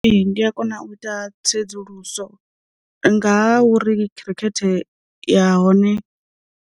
Ndi a kona u ita tsedzuluso nga ha uri khirikhethe ya hone.